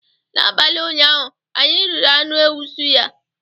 N'abalị ụnyaahụ anyị riri anụ ewu suya